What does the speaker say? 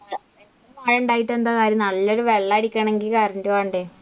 അങ്ങനെ ഉണ്ടായിട്ട് എന്താ കാര്യം നല്ലൊരു വെള്ളമടിക്കണമെങ്കിൽ current വേണ്ടേ.